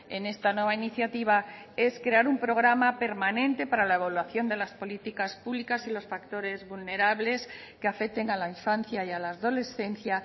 en esta nueva iniciativa es crear un programa permanente para la evaluación de las políticas públicas y los factores vulnerables que afecten a la infancia y a la adolescencia